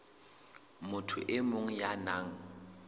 motho e mong ya nang